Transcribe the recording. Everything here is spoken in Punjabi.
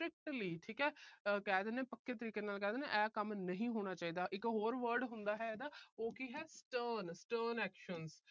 strictly ਠੀਕ ਆ ਕਹਿ ਦਿਨੇ ਆ, ਪੱਕੇ ਤਰੀਕੇ ਨਾਲ ਕਹਿ ਦਿਨੇ ਆ, ਆਹ ਕੰਮ ਨਹੀਂ ਹੋਣਾ ਚਾਹੀਦਾ। ਇੱਕ ਹੋਰ word ਹੁੰਦਾ ਹੈ ਇਹਦਾ। ਉਹ ਕੀ ਹੈ stern stern actions